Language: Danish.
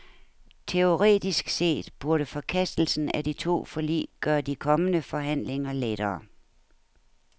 Teoretisk set burde forkastelsen af de to forlig gøre de kommende forhandlinger lettere.